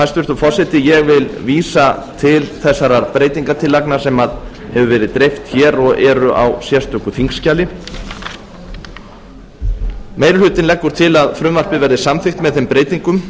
hæstvirtur forseti ég vil vísa til þessara breytingartillagna sem hefur verið dreift hér og eru á sérstöku þingskjali meiri hlutinn leggur til að frumvarpið verði samþykkt með þeim breytingum